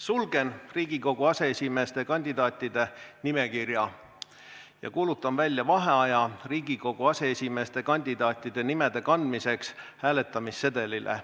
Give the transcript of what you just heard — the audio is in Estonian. Sulgen Riigikogu aseesimeeste kandidaatide nimekirja ja kuulutan välja vaheaja Riigikogu aseesimeeste kandidaatide nimede kandmiseks hääletamissedelitele.